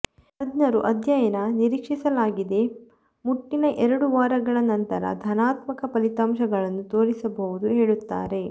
ತಜ್ಞರು ಅಧ್ಯಯನ ನಿರೀಕ್ಷಿಸಲಾಗಿದೆ ಮುಟ್ಟಿನ ಎರಡು ವಾರಗಳ ನಂತರ ಧನಾತ್ಮಕ ಫಲಿತಾಂಶಗಳನ್ನು ತೋರಿಸಬಹುದು ಹೇಳುತ್ತಾರೆ